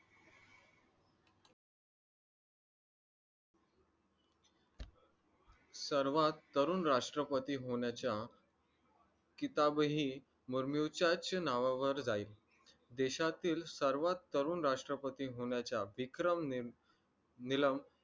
सर्वात तरुण राष्ट्रपती होण्याच्या किताबही मुर्मूचाच नावावर राहील देशातील सर्वात तरुण राष्ट्रपती होण्याच्या विक्रमने